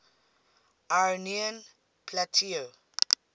iranian plateau